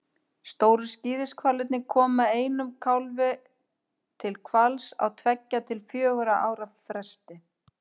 Stóru skíðishvalirnir koma einum kálfi til hvals á tveggja til fjögurra ára fresti.